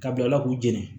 Ka bilala k'u jeni